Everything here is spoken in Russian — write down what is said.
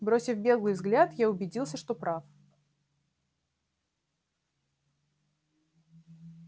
бросив беглый взгляд я убедился что прав